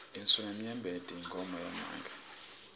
insulamnyembeti inkhomo yamake